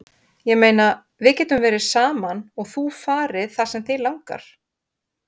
Ég meina, við getum verið saman og þú farið það sem þig langar.